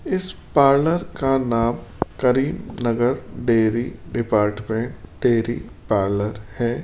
इस पार्लर का नाम Karimnagar dairy department dairy parlour है।